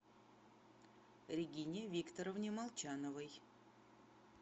регине викторовне молчановой